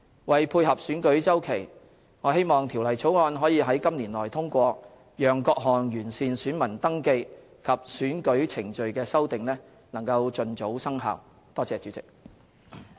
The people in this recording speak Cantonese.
為配合選舉周期，我希望《條例草案》可於今年內通過，讓各項完善選民登記及選舉程序的修訂盡早生效。